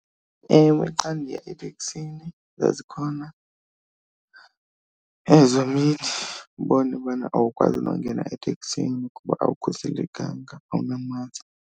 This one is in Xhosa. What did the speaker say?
Ewe, xa ndiya eteksini zazikhona ezo mini ubone bana awukwazi nongena eteksini kuba awukhuselekanga awunamaski